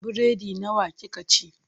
Biredi nawa kika ci?